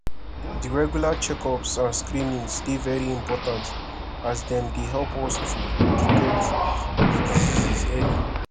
di regular checkups and screenings dey very important as dem dey help us to detect di diseases early